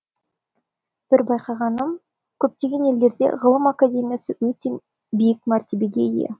бір байқайғаным көптеген елдерде ғылым академиясы өте биік мәртебеге ие